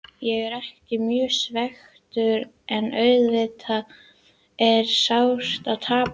Ég er ekki mjög svekktur en auðvitað er sárt að tapa.